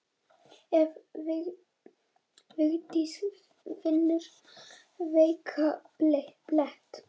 Ef Vigdís finnur veikan blett.